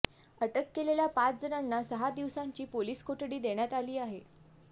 अटक केलेल्या पाच जणांना सहा दिवसांची पोलीस कोठडी देण्यात आली आहे